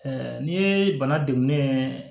n'i ye bana degun ye